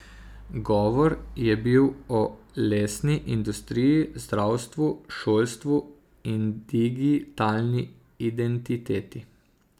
Govor je bil o lesni industriji, zdravstvu, šolstvu in digitalni identiteti.